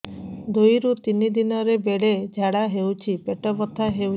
ଦୁଇରୁ ତିନି ଦିନରେ ବେଳେ ଝାଡ଼ା ହେଉଛି ପେଟ ବଥା ହେଉଛି